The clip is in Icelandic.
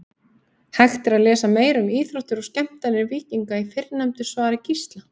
Hægt er að lesa meira um íþróttir og skemmtanir víkinga í fyrrnefndu svari Gísla.